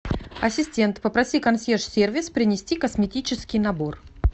ассистент попроси консьерж сервис принести косметический набор